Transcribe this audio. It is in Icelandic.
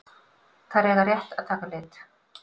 Þær eiga rétt að taka lit.